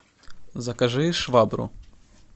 закажи швабру